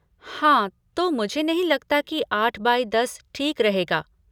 हाँ, तो मुझे नहीं लगता की आठ बाई दस ठीक रहेगा।